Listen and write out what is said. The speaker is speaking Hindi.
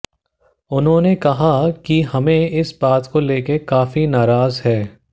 उन्होंने कहा कि हमें इस बात को लेकर काफी नाराज हैं